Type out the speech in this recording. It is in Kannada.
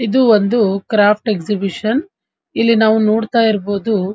ಎದು ಒಂದು ಕ್ರಾಫ್ಟ್ ಎಕ್ಸಿಬಿಷನ್ --